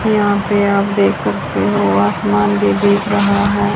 यहां पे आप देख सकते हो आसमान भी दिख रहा हैं।